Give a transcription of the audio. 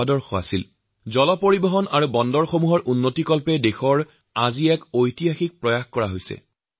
আজি দেশত জলপথ আৰু বন্দৰৰ সম্প্ৰসাৰণৰ ঐতিহাসিক কামকাজ আৰম্ভ হৈছে